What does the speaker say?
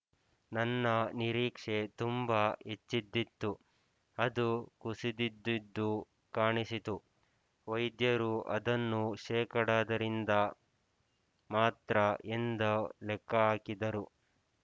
ನನ್ನ ನಿರೀಕ್ಷೆ ತುಂಬ ಹೆಚ್ಚಿದ್ದಿತು ಅದು ಕುಸಿದಿದ್ದುದು ಕಾಣಿಸಿತು ವೈದ್ಯರು ಅದನ್ನು ಶೇಕಡದ ರಿಂದ ಮಾತ್ರ ಎಂದು ಲೆಕ್ಕಹಾಕಿದರು